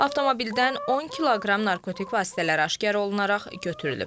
Avtomobildən 10 kq narkotik vasitələr aşkar olunaraq götürülüb.